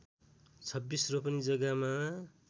२६ रोपनि जग्गामा